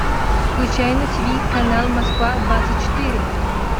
включай на тиви канал москва двадцать четыре